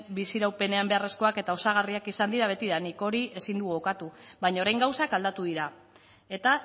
bizi iraupenean beharrezkoak eta osagarriak izan dira betidanik hori ezin dugu ukatu baina orain gauzak aldatu dira eta